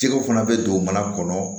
Jɛgɛw fana bɛ don mana kɔnɔ